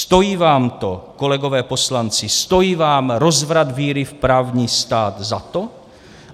Stojí vám to, kolegové poslanci, stojí vám rozvrat víry v právní stát za to?